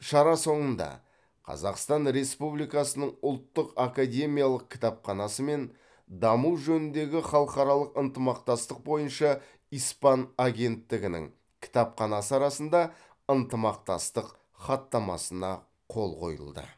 шара соңында қазақстан республикасының ұлттық академиялық кітапханасы мен даму жөніндегі халықаралық ынтымақтастық бойынша испан агенттігінің кітапханасы арасында ынтымақтастық хаттамасына қол қойылды